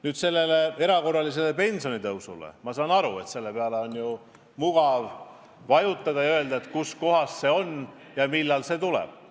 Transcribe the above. Nüüd, erakorralise pensionitõusu teemale on ju mugav viidata ja küsida, kus see on ja millal see tuleb.